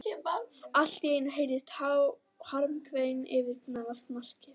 Allt í einu heyrðist harmakvein yfirgnæfa snarkið.